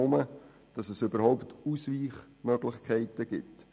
Dies nur schon deshalb, damit es überhaupt Ausweichmöglichkeiten gibt.